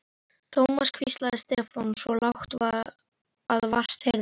Thomas hvíslaði Stefán, svo lágt að vart heyrðist.